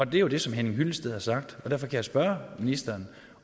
det er jo det som henning hyllested har sagt og derfor kan jeg spørge ministeren